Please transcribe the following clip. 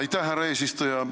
Aitäh, härra eesistuja!